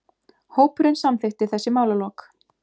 Hópurinn samþykkti þessi málalok.